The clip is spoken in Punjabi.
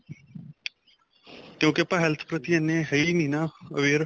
ਕਿਉਂਕਿ ਆਪਾਂ health ਪ੍ਰਤੀ ਇਹਨੇ ਹੈ ਹੀ ਨਹੀਂ aware